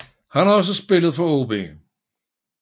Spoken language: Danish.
Han har også spillet for AaB